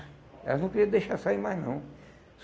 Elas não queriam deixar sair mais, não.